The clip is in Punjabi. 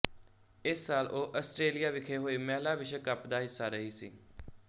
ਇਸ ਸਾਲ ਉਹ ਆਸਟ੍ਰੇਲੀਆ ਵਿਖੇ ਹੋਏ ਮਹਿਲਾ ਵਿਸ਼ਵ ਕੱਪ ਦਾ ਹਿੱਸਾ ਰਹੀ ਸੀ